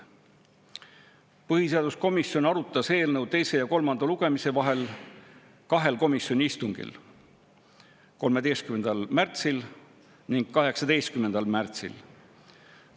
Põhiseaduskomisjon arutas eelnõu teise ja kolmanda lugemise vahel kahel komisjoni istungil: 13. märtsil ning 18. märtsil.